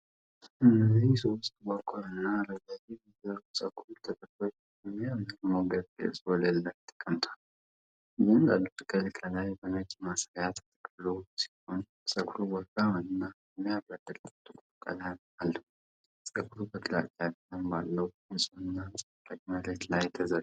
እነዚህ ሶስት ጥቁርና ረዣዥም የሰው ፀጉር ጥቅሎች በሚያምር ሞገድ ቅርጽ ወለል ላይ ተቀምጠዋል። እያንዳንዱ ጥቅል ከላይ በነጭ ማሰሪያ ተጠቅልሎ ሲሆን ፀጉሩ ወፍራምና የሚያብረቀርቅ ጥቁር ቀለም አለው። ፀጉሩ በግራጫ ቀለም ባለው፣ ንጹህና አንጸባራቂ መሬት ላይ ተዘርግቷል።